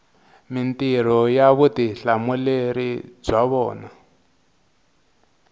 mintirho ni vutihlamuleri bya vona